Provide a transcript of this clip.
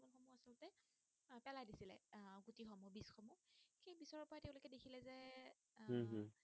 আহ উম হম